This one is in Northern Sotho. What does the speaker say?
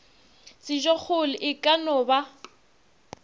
sejokgolo e ka no ba